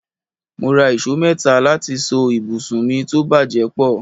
Mo rà ìṣó mẹ́ta láti so ibùsùn mi tó bàjẹ́ pọ̀